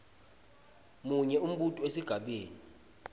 munye umbuto esigabeni